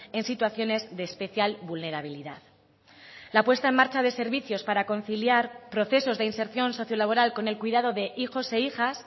en situaciones de especial vulnerabilidad la puesta en marcha de servicios para conciliar procesos de inserción sociolaboral con el cuidado de hijos e hijas